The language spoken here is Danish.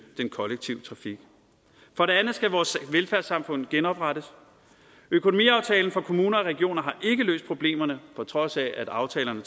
den kollektive trafik for det andet skal vores velfærdssamfund genoprettes økonomiaftalen for kommuner og regioner har ikke løst problemerne på trods af at aftalerne